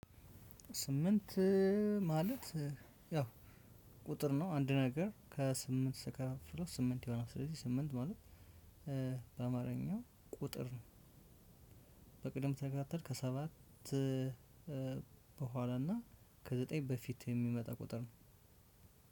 ስምንት ማለት ያው ቁጥር ነው። አንድ ነገር ከስምንት ሲቀረው ስምንት ይሆናል። ስለዚህ ስምንት ማለት በአማርኛው ቁጥር ነው በቅደም ተከተል ከሰባት በኋላ እና ከዘጠኝ በፊት የሚመጣ ቁጥር ነው።